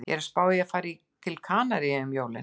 Ég er að spá í að fara til Kanaríeyja um jólin